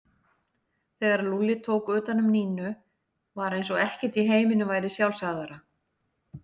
Þegar Lúlli tók utan um Nínu var eins og ekkert í heiminum væri sjálfsagðara.